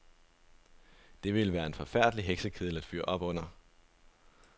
Det ville være en forfærdelig heksekedel at fyre op under.